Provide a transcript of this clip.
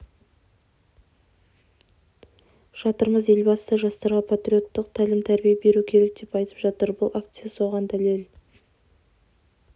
жатырмыз елбасы да жастарға патриоттық тәлім-тәрбие беру керек деп айтып жатыр бұл акция соған дәлел